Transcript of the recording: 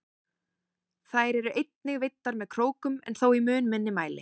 Þær eru einnig veiddar með krókum en þó í mun minni mæli.